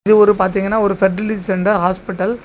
இது ஒரு பாத்தீங்கன்னா ஒரு பெர்டிலிட்டி சென்ட ஹாஸ்பிட்டல் .